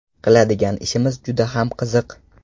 Qiladigan ishimiz juda ham qiziq.